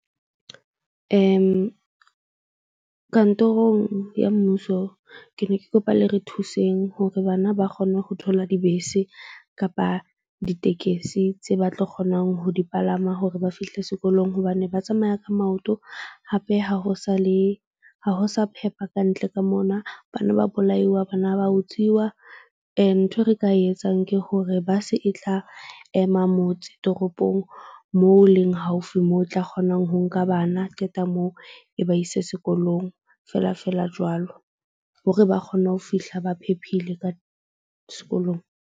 Kantorong ya mmuso, ke ne ke kopa le re thuseng hore bana ba kgone ho thola dibese kapa ditekesi tse ba tlo kgonang ho di palama hore ba fihle sekolong hobane ba tsamaya ka maoto. Hape ha ho sa le ha ho sa phepha kantle ka mona, bana ba bolaiwa bana ba utsiwa. Nthwe re ka e etsang ke hore bus-e e tla ema motse toropong moo leng haufi moo o tla kgonang ho nka bana. Qeta moo, e ba ise sekolong feela feela jwalo. Hore ba kgone ho fihla ba phephile ka sekolong.